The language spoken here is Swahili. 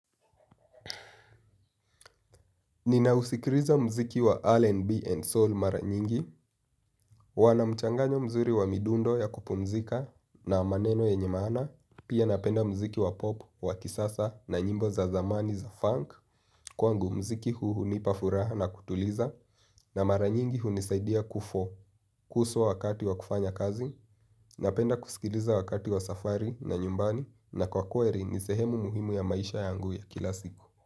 Ninausikiliza muziki wa RNB and soul mara nyingi. Wanamchanganyo mzuri wa midundo ya kupumzika na maneno yenye maana. Pia napenda mziki wa pop, wa kisasa na nyimbo za zamani za funk. Kwangu mziki huu hunipa furaha na kutuliza. Na mara nyingi huu nisaidia kufo Kuso wakati wa kufanya kazi. Napenda kusikiliza wakati wa safari na nyumbani. Na kwa kweri ni sehemu muhimu ya maisha yangu ya kila siku.